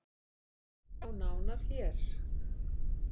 Sjá nána hér